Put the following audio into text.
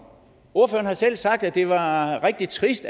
ordføreren har selv sagt at det var rigtig trist